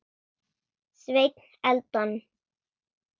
Sveinn Eldon.